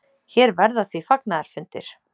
Hér verða því fagnaðarfundir.